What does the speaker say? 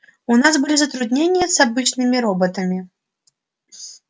у нас были затруднения с обычными роботами